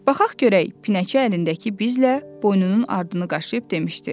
Baxaq görək, pinəçi əlindəki bizlə boynunun ardını qaşıyıb demişdi.